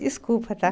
Desculpa, tá?